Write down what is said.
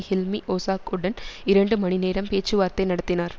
ஹில்மி ஒசாக்குடன் இரண்டு மணி நேரம் பேச்சுவார்த்தை நடத்தினார்